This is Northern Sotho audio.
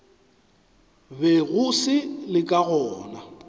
bego se le ka gona